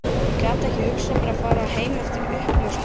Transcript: Ég gat ekki hugsað mér að fara heim eftir uppljóstrun